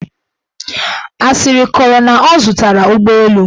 Asịrị kọrọ na ọ zụtara ụgbọelu.